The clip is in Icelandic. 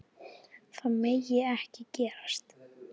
Það megi ekki gerast.